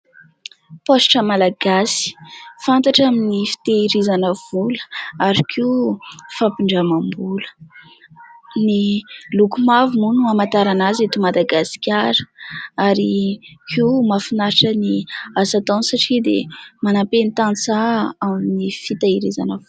Paositra Malagasy fantatra amin'ny fitehirizana vola ary koa fampindramam-bola, ny loko mavo moa no hamantarana azy eto Madagasikara ary koa mahafinaritra ny asa ataony satria dia manampy ny tantsaha amin'ny fiteherizana vola.